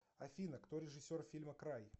афина кто режиссер фильма край